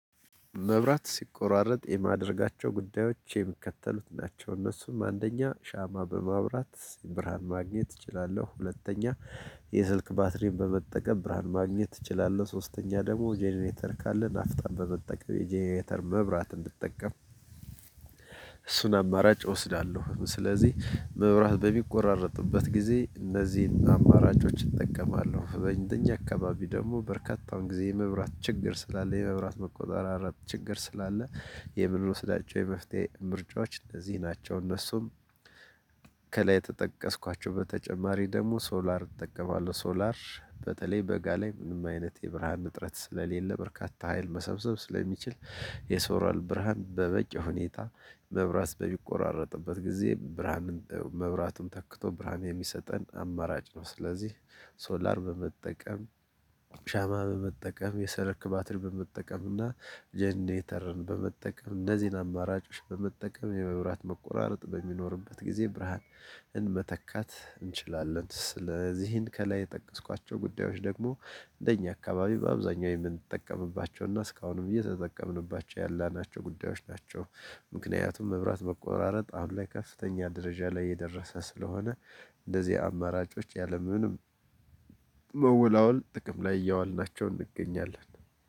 መብራት ሲቆራረጥ የማደርጋቸው ጉዳዮች የሚከተሉት ናቸው እነሱም አንደኛ ሻማ በማብራት ብርሃን ማግኘት እችላለሁ ሁለተኛ የስልክ ባትሪን በመጠቀም ብርሃን ማግኘት እችላለሁ። ሶስተኛ ደግሞ ጀነሬተር ካለ ናፍጣን በመጠቀም የጀነሬተር መብራት እንድጠቀም እሱን አማራጭ እወስዳለሁ። ስለዚህ መብራት በሚቆራረጥበት ጊዜ እነዚህን አማራጮች እጠቀማለሁ በእንደኛ አካባቢ ደግሞ በርካታውን ጊዜ የመብራት ችግር ስላለ የመብራት መቆራረጥ ችግር ስላለ። የምንወስዳቸው የመፍትሄ ምርጫዎች እነዚህ ናቸው። እነሱም ከላይ የተጠቀስኳቸው በተጨማሪ ደግሞ ሶላር እጠቀማለሁ። ሶላር በተለይ በጋ ላይ ምንም አይነት የብርሃን እጥረት ስለሌለ በርካታ ሀይል መሰብሰብ ስለሚችል የሶላር ብርሃን በበቂ ሁኔታ መብራት በሚቆራረጥበት ጊዜ ብርሃንን መብራቱን ተክቶ ብርሃን የሚሰጠን አማራጭ ነው። ስለዚህ ሶላር በመጠቀም ሻማ በመጠቀም የሰልክ ባትሪ በመጠቀም እና ጀነሬተርን በመጠቀም እነዚህን አማራጮች በመጠቀም የመብራት መቆራረጥ በሚኖርበት ጊዜ ብርሃንን መተካት እንችላለን። ስለዚህን ከላይ የጠቀስኳቸው ጉዳዮች ደግሞ እንደኛ አካባቢ በአብዛኛው የምንጠቀምባቸውና እስካሁንም እየተጠቀምንባቸው ያላናቸው ጉዳዮች ናቸው። ምክንያቱም መብራት መቆራረጥ አሁን ላይ ከፍተኛ ደረጃ ላይ የደረሰ ስለሆነ። እንደዚህ አማራጮች ያለምንም መወላወል ጥቅም ላይ እያዋልናቸውን እንገኛለን።